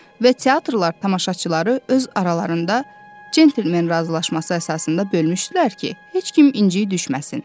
Və teatrlar tamaşaçıları öz aralarında centlmen razılaşması əsasında bölmüşdülər ki, heç kim inciyib düşməsin.